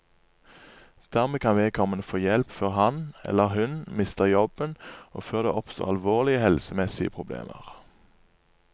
Dermed kan vedkommende få hjelp før han, eller hun, mister jobben og før det oppstår alvorlige helsemessige problemer.